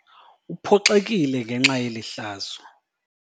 Uphoxekile ngenxa yeli hlazo.